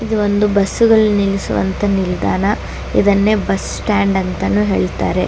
ಇದು ಒಂದು ಬಸ್ಸು ಗಳು ನಿಲ್ಲಿಸುವಂತಹ ನಿಲ್ದಾಣ ಇದನ್ನೇ ಬಸ್ ಸ್ಟಾಂಡ್ ಅಂತಾನು ಹೇಳ್ತಾರೆ .